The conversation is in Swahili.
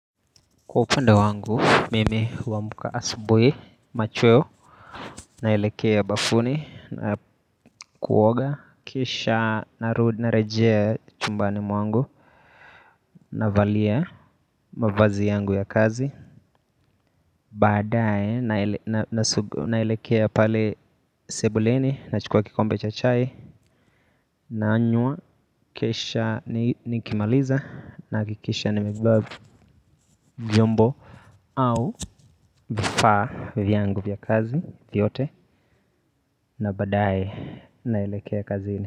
Kwa upande wangu, mimi huamka asubuhi, machweo, naelekea bafuni na kuoga. Kisha narudi narejea chumbani mwangu, navalia mavazi yangu ya kazi. Baadae, naelekea pale sebuleni, na chukua kikombe cha chai. Naanywa, kisha nikimaliza, nahakikisha nimebeba, vyombo. Au vifaa vyangu vya kazi vyote na badaye naelekea kazini.